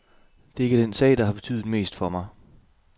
Det er ikke den sag, der har betydet mest for mig.